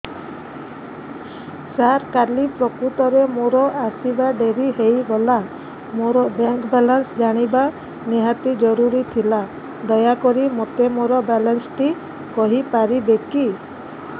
ସାର କାଲି ପ୍ରକୃତରେ ମୋର ଆସିବା ଡେରି ହେଇଗଲା ମୋର ବ୍ୟାଙ୍କ ବାଲାନ୍ସ ଜାଣିବା ନିହାତି ଜରୁରୀ ଥିଲା ଦୟାକରି ମୋତେ ମୋର ବାଲାନ୍ସ ଟି କହିପାରିବେକି